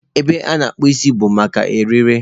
Ebe a na-akpụ isi bụ maka ire ere.